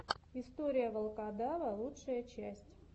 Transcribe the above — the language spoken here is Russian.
история волкодава лучшая часть